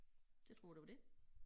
Det tror jeg det var det